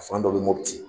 Fan dɔ bɛ mɔputi